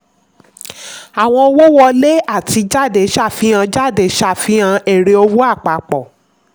àwọn owó wọlé àti jáde ṣàfihàn jáde ṣàfihàn èrè owó àpapọ̀.